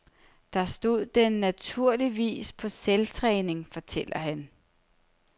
Der stod den naturligvis på selvtræning, fortæller han.